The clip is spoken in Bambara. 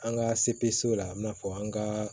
An ka sebeso la i n'a fɔ an ka